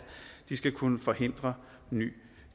de skal kunne forhindre ny